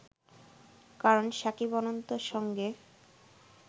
কারণ শাকিব-অনন্ত’র সঙ্গে